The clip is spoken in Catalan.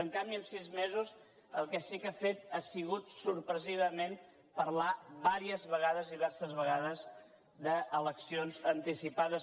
en canvi en sis mesos el que sí que ha fet ha sigut sorprenentment parlar diverses vegades d’eleccions anticipades